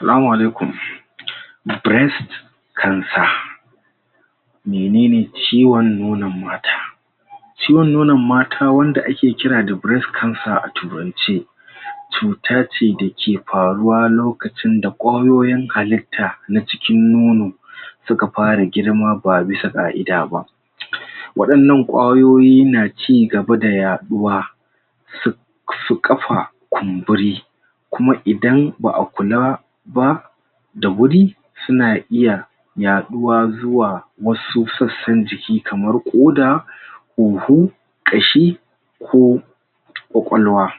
Salama alaikum Menene ciwon nonon mata? Ciwon nonon mata wanda a ke kira da breast cancer a turance, cuta ce da ke faruwa lokacin da koyoyin halitta na cikin nono su ka fara girma, ba bisa ga ida ba wadannan kwayoyi na cigaba da yaduwa su su kafa kunburi kuma idan ba'a kula ba da wuri, su na iya yaɗuwa zuwa wasu tsatsan jiki kamar koda kashi ko kwakwalwa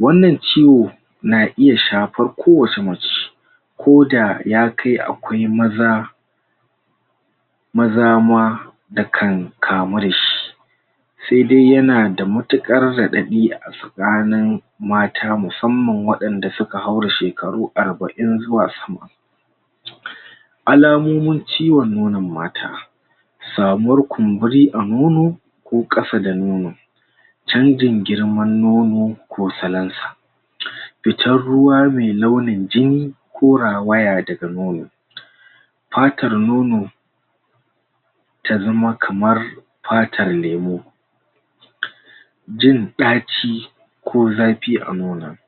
wannan ciwo, na iya shafar ko wace mace ko da ya kai, akwai maza maza ma, da kan kamu da shi se dai ya na da matukar raɗaɗi a tsakanin mata musamman wadanda su ka haura shekaru arba'in zuwa sama. Al'amumin ciwon nonon mata samuwar kunburi a nono ko kasa da nono canjin girma nono ko salansa. Fitar ruwa me launin jini, ko rawaya da ga nono. Patar nono ta zama kamar patar lemu. Jin daci, ko zafi a nonon.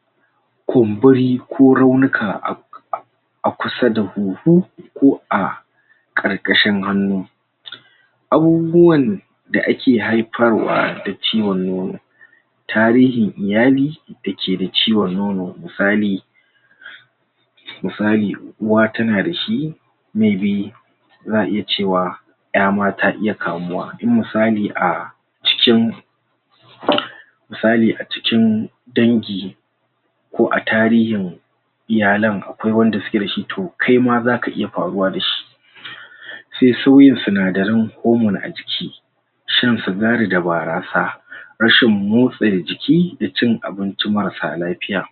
Kunburi ko raunuka a a kusa da huhu ko a karkashin hanu abubuwan da ake haifarwa da ciwon nono, tarihin iyali, da ke da ciwon nono misali misali uwa ta na dashi za'a iya cewa ƴa ma ta iya kamuwa, in misali a cikin misali a cikin dangi ko a tarihin iyalen akwai wanda su ke da shi toh kai ma za ka iya faruwa dashi. Se sauyin sunadarin hormone a jiki shan sugari da barasa, rashin motse jiki da cin abincin mara sa lafiya.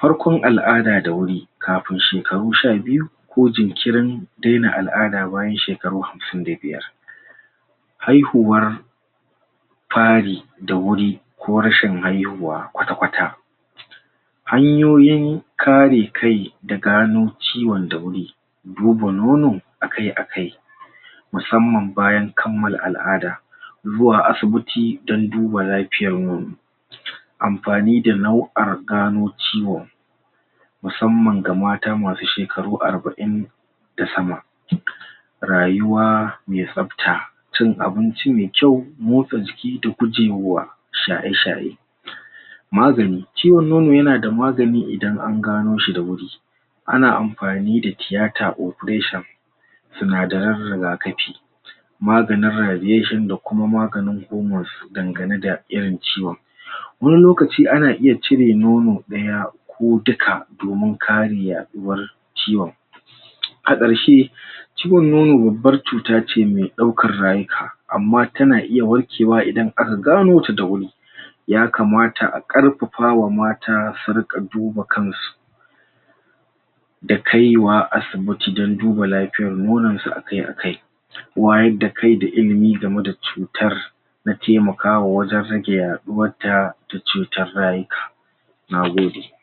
Farkon al'ada da wuri kafun shekaru sha biyu ko jinkirin dena al'ada bayan shekaru hamsin da biyar. Haihuwar fari da wuri ko rashin haihuwa kwata-kwata. Hanyoyin kare kai da gano ciwon da wuri, duba nono, a kai a kai, musamman bayan kamal al'ada zuwa asibiti don duba lafiyar mu. Amfani da nau'ar gano ciwo musamman ga mata masu shekaru arba'in da sama rayuwa me sabta, cin abinci me kyau motsa jiki da gujewa, shaye-shaye magani. Ciwon nono ya na da magani idan an gano shi da wuri a na amfani da tiyata operation, sunadarin rigakafi. Maganin radiation da kuma maganin hormones ganganu da irin ciwon. Wani lokaci ana iya cire nono daya ko dukka domin kari yaɗuwar ciwon. A karshe, ciwon nono babba cuta ce me daukar rayuka amma ta na iya warkewa idan a ka gano ta da wuri. Ya kamata a kafafa wa mata su rika duba kan su. Da kai wa asibiti dan duba lafiyar nonon su a kai a kai. Wayar da kai da ilimi game da cutar na taimakawa wajen rage yaduwar da duk cutar rayuka. Nagode.